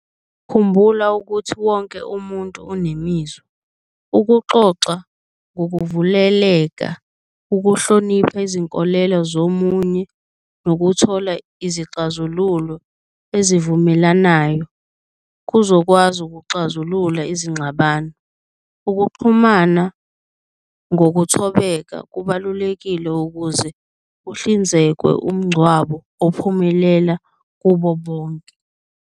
Khumbula ukuthi wonke umuntu unemizwa, ukuxoxa ngokuvuleleka, ukuhlonipha izinkolelo zomunye, nokuthola izixazululo ezivumelanayo kuzokwazi ukuxazulula izingxabano. Ukuxhumana ngokuthobeka kubalulekile ukuze kuhlinzekwe umngcwabo ophumelela kubo bonke.